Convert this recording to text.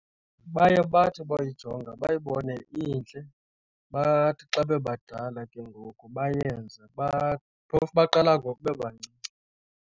Baye bathi boyijonga bayibone intle. Bathi xa bebadala ke ngoku bayenze, phofu baqala ngoku bebancinci.